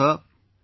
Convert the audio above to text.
Hello Sir